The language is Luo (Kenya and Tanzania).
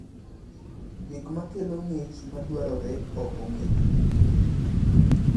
Gik ma kelo ng’ich ma dwarore ok ong’ere.